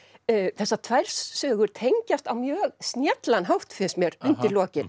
þessar tvær sögur þær tengjast á mjög snjallan hátt finnst mér undir lokin